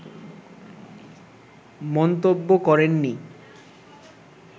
মন্তব্য করেননি